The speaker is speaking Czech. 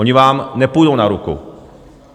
Oni vám nepůjdou na ruku.